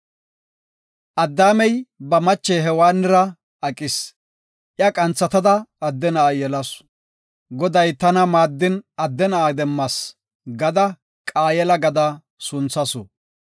Addaamey ba mache Hewaannira aqis. Iya qanthatada adde na7a yelasu. “Goday tana maaddin adde na7a demmas” gada Qaayela gada sunthasu.